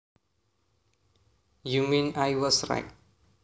You mean I was right